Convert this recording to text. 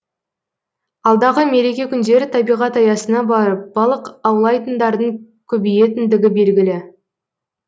алдағы мереке күндері табиғат аясына барып балық аулайтындардың көбейетіндігі белгілі